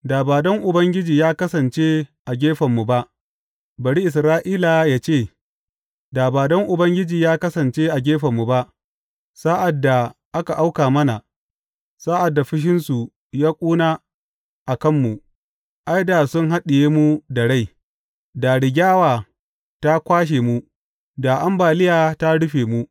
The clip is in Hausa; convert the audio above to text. Da ba don Ubangiji ya kasance a gefenmu ba, bari Isra’ila yă ce, da ba don Ubangiji ya kasance a gefenmu ba sa’ad da aka auka mana, sa’ad da fushinsu ya ƙuna a kanmu, ai, da sun haɗiye mu da rai; da rigyawa ta kwashe mu, da ambaliya ta rufe mu.